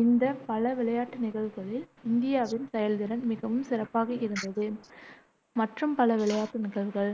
இந்த பல விளையாட்டு நிகழ்வுகளில் இந்தியாவின் செயல்திறன் மிகவும் சிறப்பாக இருந்தது. மற்றும் பல விளையாட்டு நிகழ்வுகள்